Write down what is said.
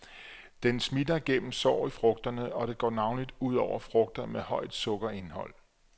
Den smitter gennem sår i frugterne, og det går navnlig ud over frugter med højt sukkerindhold.